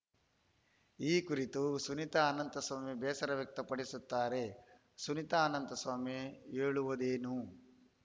ಈ ಕುರಿತು ಸುನೀತಾ ಅನಂತಸ್ವಾಮಿ ಬೇಸರ ವ್ಯಕ್ತಪಡಿಸುತ್ತಾರೆ ಸುನೀತಾ ಅನಂತಸ್ವಾಮಿ ಹೇಳುವುದೇನು